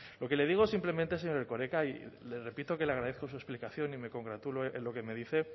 lo que le digo simplemente señor erkoreka y le repito que le agradezco su explicación y me congratulo en lo que me dice